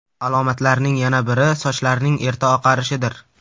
Alomatlarning yana biri sochlarning erta oqarishidir.